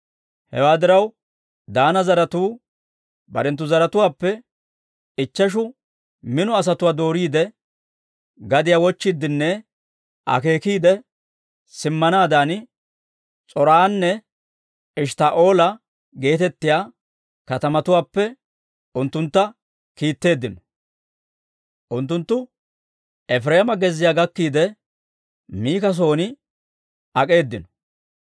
Hewaa diraw, Daana zaratuu barenttu zaratuwaappe ichcheshu mino asatuwaa dooriide, gadiyaa wochchiiddenne akeekiide simmanaadan, S'or"anne Eshttaa'oola geetettiyaa katamatuwaappe unttuntta kiitteeddino. Unttunttu Efireema gezziyaa gakkiide, Mika son ak'eedino.